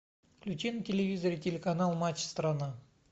включи на телевизоре телеканал матч страна